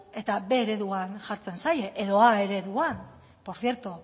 eta b ereduan jartzen zaie edo a ereduan por cierto